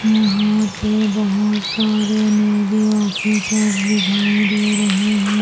यहां पे बहुत सारे नेवी ऑफिसर्स दिखाई दे रहे हैं।